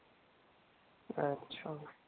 अच्छा.